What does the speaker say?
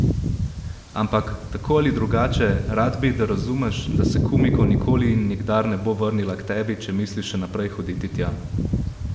Ampak, tako ali drugače, rad bi, da razumeš, da se Kumiko nikoli in nikdar ne bo vrnila k tebi, če misliš še naprej hoditi tja.